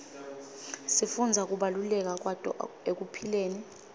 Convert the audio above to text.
sifundza kubaluleka kwato ekuphileni